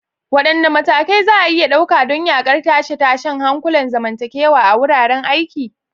Wadanne matakai za a iya ɗauka don yaƙar tashe-tashen hankulan zamantakewa a wuraren aiki?